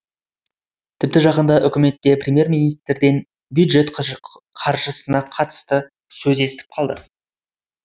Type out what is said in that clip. тіпті жақында үкіметте премьер министрден бюджет қаржысына қатысты сөз естіп қалды